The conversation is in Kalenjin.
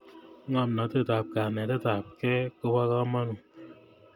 ngomnatet ap kanetet apkei kopo kamanut